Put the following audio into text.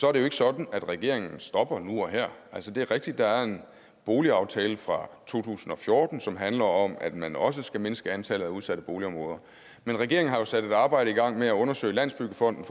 er det ikke sådan at regeringen stopper nu og her det er rigtigt at der er en boligaftale fra to tusind og fjorten som handler om at man også skal mindske antallet af udsatte boligområder regeringen har sat et arbejde i gang med at undersøge i landsbyggefonden